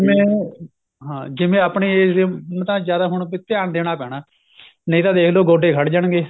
ਵੇ ਹਾਂ ਜਿਵੇਂ ਆਪਣੇ age ਤਾਂ ਜਿਆਦਾ ਹੁਣ ਵੀ ਧਿਆਨ ਦੇਣਾ ਪੈਣਾ ਨਹੀਂ ਤਾਂ ਦੇਖ ਲੋ ਗੋਡੇ ਖੜ ਜਾਣਗੇ